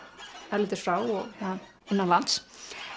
erlendis frá og innanlands